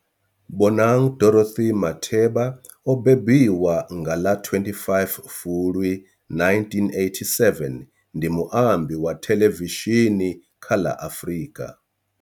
Bonang Dorothy Matheba o mbembiwa nga ḽa 25 Fulwi 1987, ndi muambi wa thelevishini kha ḽa Afrika.